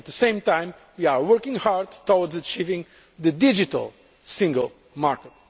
At the same time we are working hard on achieving the digital single market.